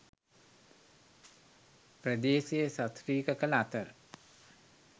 ප්‍රදේශය සශ්‍රීක කළ අතර